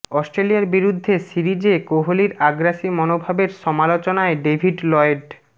অস্ট্রেলিয়ার বিরুদ্ধে সিরিজে কোহলির আগ্রাসী মনোভাবের সমালোচনায় ডেভিড লয়েড